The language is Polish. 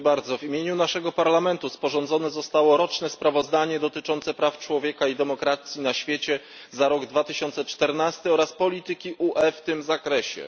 W imieniu naszego Parlamentu sporządzone zostało roczne sprawozdanie dotyczące praw człowieka i demokracji na świecie za rok 2014 oraz polityki UE w tym zakresie.